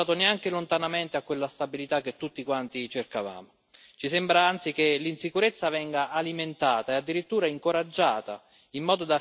Ci sembra anzi che l'insicurezza venga alimentata e addirittura incoraggiata in modo da finanziare il business della vendita delle armi e anche quello dei migranti.